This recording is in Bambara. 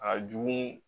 A jugu